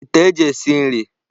Ite eji esi nri.